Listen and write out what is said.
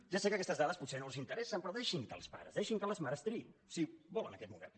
ja sé que aquestes dades potser no els interessen però deixin que els pares deixin que les mares triïn si volen aquest model